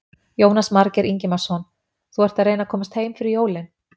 Jónas Margeir Ingimarsson: Þú ert að reyna að komast heim fyrir jólin?